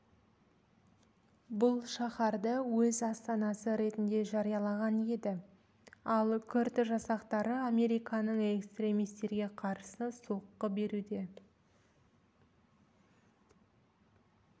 бұл шаһарды өз астанасы ретінде жариялаған еді ал күрд жасақтары американың экстремистерге қарсы соққы беруде